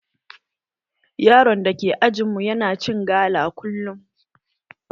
Yaron da ke ajin mu yana cin gala kullum